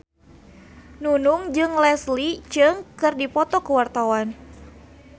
Nunung jeung Leslie Cheung keur dipoto ku wartawan